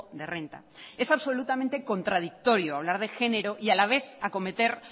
de renta es absolutamente contradictorio hablar de genero y a la vez acometer